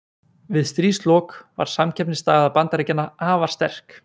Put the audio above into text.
Við stríðslok var samkeppnisstaða Bandaríkjanna afar sterk.